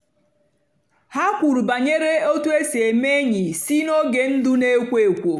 ha kwùrù bànyèrè otú èsì èmé ényì sí nógè ndụ́ na-èkwó èkwò.